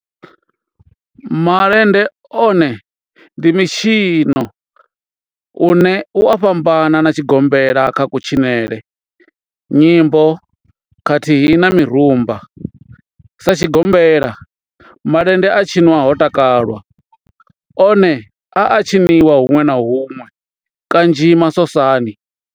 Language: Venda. Malende one ndi mitshino une u a fhambana na tshigombela kha kutshinele, nyimbo khathihi na mirumba. Sa tshigombela, malende a tshinwa ho takalwa, one a a tshiniwa hunwe na hunwe kanzhi masosani.